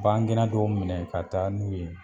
Bangan gɛna dɔw minɛ ka taa n'u ye